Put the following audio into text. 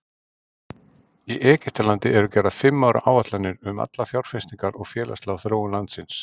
Í Egyptalandi eru gerðar fimm ára áætlanir um allar fjárfestingar og félagslega þróun landsins.